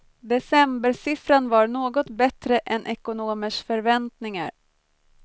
Decembersiffran var något bättre än ekonomers förväntningar.